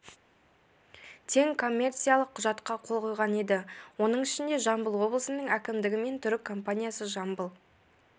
тең коммерциялық құжатқа қол қойған еді оның ішінде жамбыл облысының әкімдігі мен түрік компаниясы жамбыл